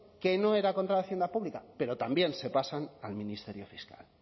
que no era contra la hacienda pública pero también se pasan al ministerio fiscal